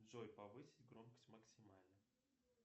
джой повысить громкость максимально